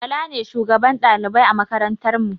bala ne shugaban ɗalibai a makarantar mu